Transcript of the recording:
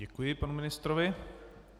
Děkuji panu ministrovi.